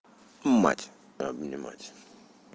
мать обнимать